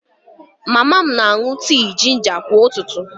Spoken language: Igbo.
Mama m na-aṅụ tii jinja kwa ụtụtụ